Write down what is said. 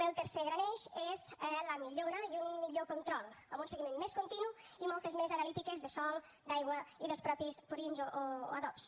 el tercer gran eix és la millora i un millor control amb un seguiment més continu i moltes més analítiques de sòl d’aigua i dels mateixos purins o adobs